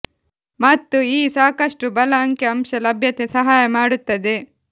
ಮತ್ತು ಈ ಸಾಕಷ್ಟು ಬಲ ಅಂಕಿ ಅಂಶ ಲಭ್ಯತೆ ಸಹಾಯ ಮಾಡುತ್ತದೆ